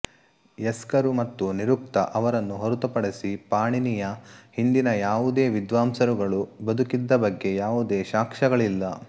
ಯಸ್ಕರು ಮತ್ತು ನಿರುಕ್ತ ಅವರನ್ನು ಹೊರತುಪಡಿಸಿ ಪಾಣಿನಿಯ ಹಿಂದಿನ ಈ ಯಾವುದೇ ವಿದ್ವಾಂಸರುಗಳು ಬದುಕಿದ್ದ ಬಗ್ಗೆ ಯಾವುದೇ ಸಾಕ್ಷಗಳಿಲ್ಲ